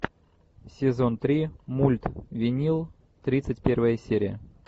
сезон три мульт винил тридцать первая серия